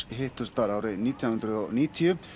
hittust þar árið nítján hundruð og níutíu